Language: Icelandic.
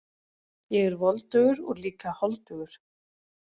Ég er voldugur og líka holdugur.